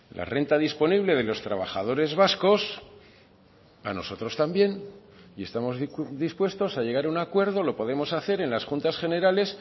la renta disponible de los trabajadores vascos a nosotros también y estamos dispuestos a llegar a un acuerdo lo podemos hacer en las juntas generales